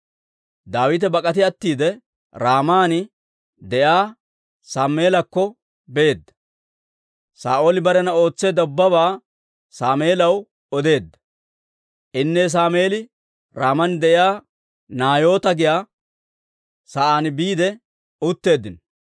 Daawite bak'ati attiide, Raaman de'iyaa Sammeelakko beedda; Saa'ooli barena ootseedda ubbabaa Sammeelaw odeedda. Inne Sammeeli Raaman de'iyaa Naayoota giyaa sa'aan biide utteeddino.